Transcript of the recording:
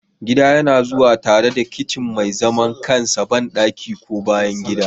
Gida yana zuwa tare da kicin mai zaman kansa, bandaki, ko bayan gida.